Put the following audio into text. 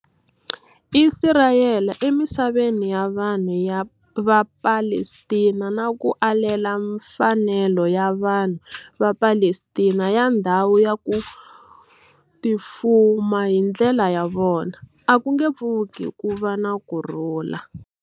Isirayele emisaveni ya vanhu va Palestina na ku alela mfanelo ya vanhu va Palestina ya ndhawu ya ku tifuma hi ndlela ya vona, a ku nge pfuki ku va na kurhula.